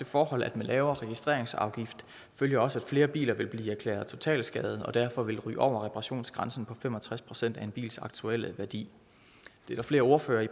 forhold at med lavere registreringsafgift følger også at flere biler vil blive erklæret totalskadede og derfor ryger over reparationsgrænsen på fem og tres procent af en bils aktuelle værdi der er flere ordførere